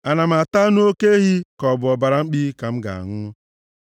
Ana m ata anụ oke ehi, ka ọ bụ ọbara mkpi ka m ga-aṅụ?